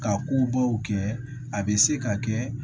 Ka kobaw kɛ a bɛ se ka kɛ